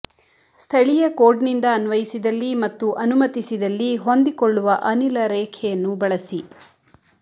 ಸ್ಥಳೀಯ ಕೋಡ್ನಿಂದ ಅನ್ವಯಿಸಿದಲ್ಲಿ ಮತ್ತು ಅನುಮತಿಸಿದಲ್ಲಿ ಹೊಂದಿಕೊಳ್ಳುವ ಅನಿಲ ರೇಖೆಯನ್ನು ಬಳಸಿ